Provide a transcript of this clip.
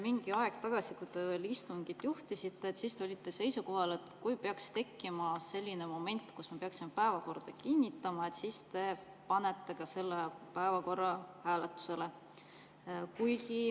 Mingi aeg tagasi, kui te istungit juhtisite, te olite seisukohal, et kui tekib selline moment, kus me peaksime päevakorra kinnitama, siis te panete selle päevakorra hääletusele.